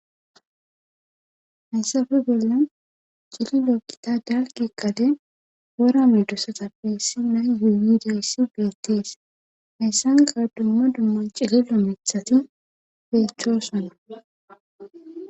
Hayssafe bolla cililo gita dalgga gadey wora medoosatappe issinna gididayssi beettees hayssankka dumma dumma cililo mithati beettoosona.